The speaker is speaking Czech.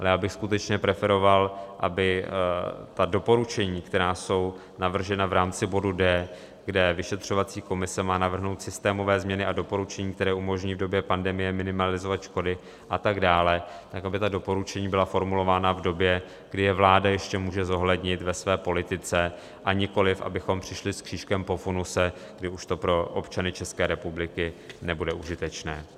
Ale já bych skutečně preferoval, aby doporučení, která jsou navržena v rámci bodu d), kde vyšetřovací komise má navrhnout systémové změny a doporučení, které umožní v době pandemie minimalizovat škody a tak dále, tak aby ta doporučení byla formulována v době, kdy je vláda ještě může zohlednit ve své politice, a nikoliv abychom přišli s křížkem po funuse, kdy už to pro občany České republiky nebude užitečné.